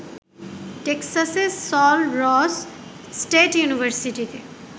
টেক্সাসের Sul Ross State ইউনিভার্সিটিতে